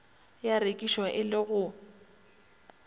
ya rekišwa e le go